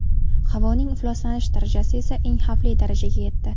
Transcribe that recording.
Havoning ifloslanish darajasi esa eng xavfli darajaga yetdi.